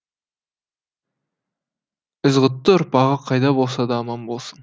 ізғұтты ұрпағы қайда болса да аман болсын